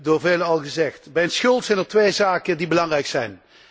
Door velen al gezegd. Bij een schuld zijn er twee zaken die belangrijk zijn.